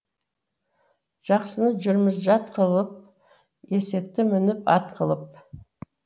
жақсыны жүрміз жат қылып есекті мініп ат қылып